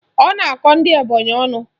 Ọ na-akọ ndị Ebonyị ọnụ.